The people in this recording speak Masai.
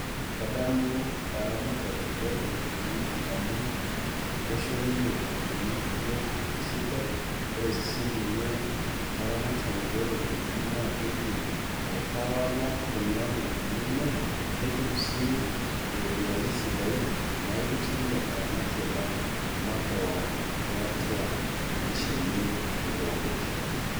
Kadamu eramatare olukunkuni amu kisho ninye lukunkuni biotisho sidai, kore sininye alaramatani lo lukunkuni naa keidim ai tawala kuna lukunkuni enyanak, netum sii iropiyiani sidain naidim si ataramatie kan makeon tiatua manyisho enye epooki rishata.